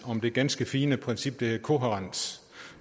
om det ganske fine princip der hedder kohærens